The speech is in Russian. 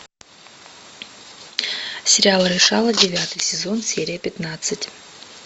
сериал решала девятый сезон серия пятнадцать